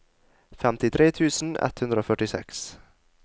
femtitre tusen ett hundre og førtiseks